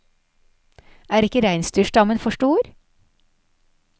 Er ikke reinsdyrstammen for stor?